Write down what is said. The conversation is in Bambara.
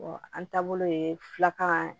an taabolo ye filakan ye